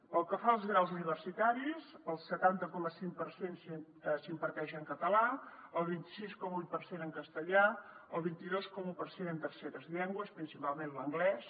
pel que fa als graus universitaris el setanta coma cinc per cent s’imparteix en català el vint sis coma vuit per cent en castellà el vint dos coma un per cent en terceres llengües principalment l’anglès